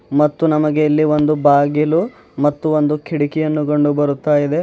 ಮತ್ತು ನಮಗೆ ಇಲ್ಲಿ ಒಂದು ಬಾಗಿಲು ಮತ್ತು ಒಂದು ಕಿಟಕಿಯನ್ನು ಕಂಡುಬರುತ್ತಾ ಇದೆ.